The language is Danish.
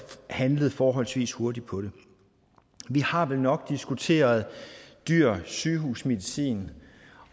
handlet forholdsvis hurtigt på det vi har vel nok diskuteret dyr sygehusmedicin